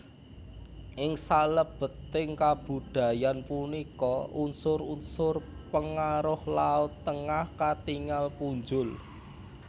Ing salebeting kabudayan punika unsur unsur pengaruh laut Tengah katingal punjul